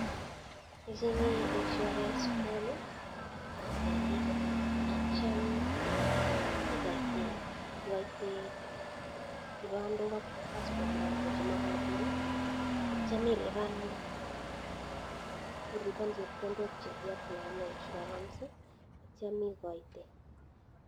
Icheng'e insurance form, atyam ikoite kibandok ak passport chemakatin atyam ilipan chepkondok che kiaplayane insurance atyam ikoite.